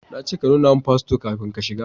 Na ce ka nuna min fasfo kafin ka shiga